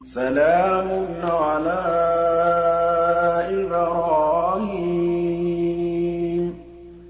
سَلَامٌ عَلَىٰ إِبْرَاهِيمَ